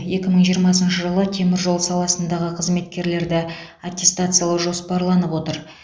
екі мың жиырмасыншы жылы теміржол саласындағы қызметкерлерді аттестациялау жоспарланып отыр